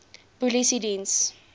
polisiediens